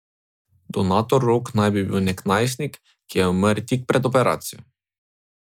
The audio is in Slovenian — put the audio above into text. Donator rok naj bi bil nek najstnik, ki je umrl tik pred operacijo.